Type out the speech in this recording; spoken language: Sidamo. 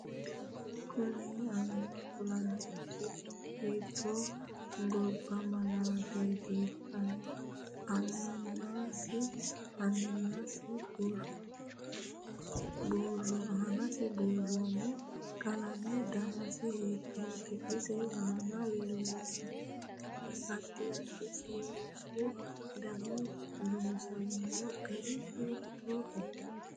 Kuni ayiimma kulananno sicci hiite gabba malaateeti aanasi buurooni qalame danase hiitoote isi aana leelanno addi addi seesu dani loosamino gari hiitooho